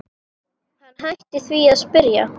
Hann hætti því að spyrja.